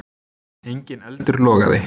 Enginn eldur logaði.